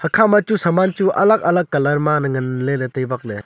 ekhama chu saman chu alag alag colour ma ley ngan bak ley.